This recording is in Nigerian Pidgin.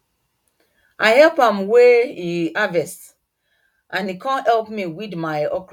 i help am weigh e harvest and he come help me weed my okro